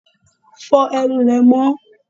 Fo ẹnu rẹ mó!